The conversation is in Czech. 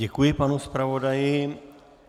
Děkuji panu zpravodaji.